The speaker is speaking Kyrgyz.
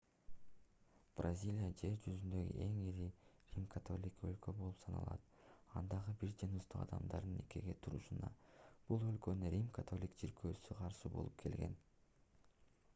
бразилия жер жүзүндөгү эң ири рим-католиктик өлкө болуп саналат андагы бир жыныстуу адамдардын никеге турушуна бул өлкөнүн рим-католиктик чиркөөсү каршы болуп келген